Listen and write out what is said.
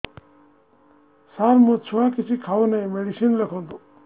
ସାର ମୋ ଛୁଆ କିଛି ଖାଉ ନାହିଁ ମେଡିସିନ ଲେଖନ୍ତୁ